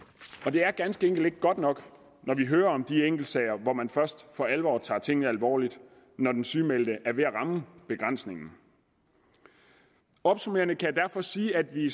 det er ganske enkelt ikke godt nok når vi hører om de enkeltsager hvor man først for alvor tager tingene alvorligt når den sygemeldte er ved at ramme begrænsningen opsummerende kan jeg derfor sige at vi